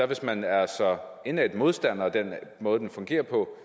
hvis man er så indædt modstander af den måde den fungerer på